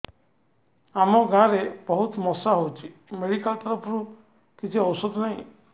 ଆମ ଗାଁ ରେ ବହୁତ ମଶା ହଉଚି ମେଡିକାଲ ତରଫରୁ କିଛି ଔଷଧ ନାହିଁ